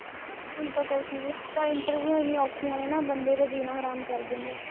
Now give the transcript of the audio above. ਹੁਣ ਤਾਂ ਕੁਛ ਨੀ, ਹੁਣ ਤਾਂ ਇੰਟਰਵਿਊਆ ਏਨੀਆ ਔਖੀਆ ਨੇ ਨਾ ਬੰਦੇ ਦਾ ਜੀਣਾ ਹਰਾਮ ਕਰ ਦਿੰਦੇ ਐ